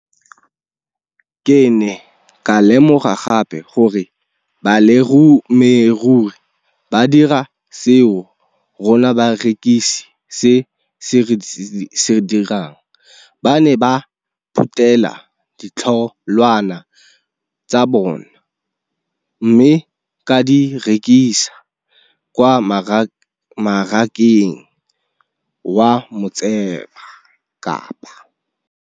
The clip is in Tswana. Ke ne ka lemoga gape gore balemirui ba dira seo rona barekisi re se dirang ba ne ba phuthela ditholwana tsa bona mme ba di rekisa kwa marakeng wa Motsekapa.